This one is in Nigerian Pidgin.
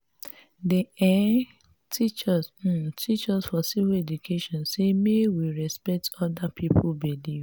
dem um teach dem um teach us for civic education sey make we respect other pipu belief.